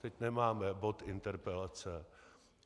Teď nemáme bod interpelace.